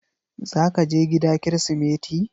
Zaka je gida kirismeti?